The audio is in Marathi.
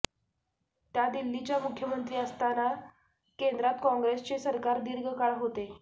त्या दिल्लीच्या मुख्यमंत्री असताना केंद्रात काँग्रेसचेच सरकार दीर्घ काळ होते